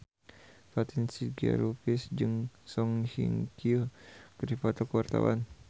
Fatin Shidqia Lubis jeung Song Hye Kyo keur dipoto ku wartawan